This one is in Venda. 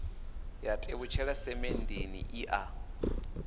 ya tevhutshela semenndeni i a